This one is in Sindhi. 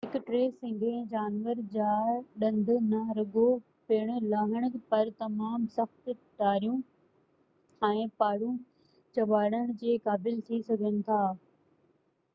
هڪ ٽي سنگهي جانور جا ڏند نه رڳو پڻ لاهڻ پر تمام سخت ٽاريون ۽ پاڙون ڄٻاڙڻڻ جي قابل ٿي سگهن ٿا